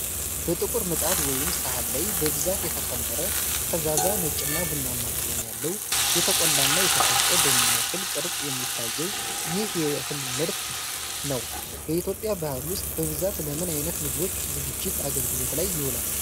በጥቁር ምጣድ ወይም ሰሃን ላይ በብዛት የተከመረ፣ ፈዛዛ ነጭና ቡናማ ቀለም ያለው፣ የተቆላና የተፈጨ በሚመስል ቅርፅ የሚታየው ይህ የእህል ምርት ነው። በኢትዮጵያ ባህል ውስጥ በብዛት ለምን አይነት ምግቦች ዝግጅት አገልግሎት ላይ ይውላል?